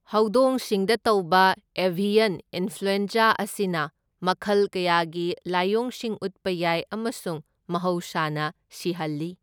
ꯍꯧꯗꯣꯡꯁꯤꯡꯗ ꯇꯧꯕ avian influenza ꯑꯁꯤꯅ ꯃꯈꯜ ꯀꯌꯥꯒꯤ ꯂꯥꯏꯑꯣꯡꯁꯤꯡ ꯎꯠꯄ ꯌꯥꯏ ꯑꯃꯁꯨꯡ ꯃꯍꯧꯁꯥꯅ ꯁꯤꯍꯜꯂꯤ꯫